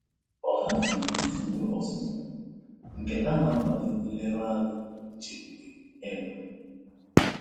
Ọ haziri usoro ọzụzụ nke na-akwado nleruanya na nchekwube um